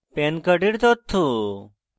pan card তথ্য: